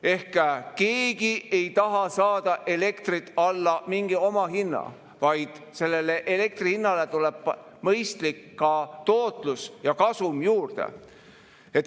Ehk keegi ei taha saada elektrit alla omahinna, vaid sellele elektri hinnale tuleb ka mõistlik tootlus ja kasum juurde.